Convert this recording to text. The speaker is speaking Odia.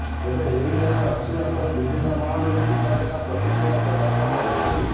ତେବେ ଏହି ରାୟ ଆସିବା ପରେ ବିଭିନ୍ନ ମହଲରୁ ଭିନ୍ନ ଭିନ୍ନ ପ୍ରତିକ୍ରିୟା ପ୍ରକାଶ ପାଇଛି